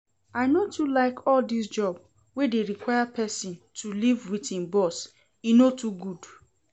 I no too like all dis job wey dey require person to live with im boss, e no too good